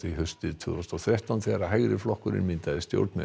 haustið tvö þúsund og þrettán þegar hægri flokkurinn myndaði stjórn með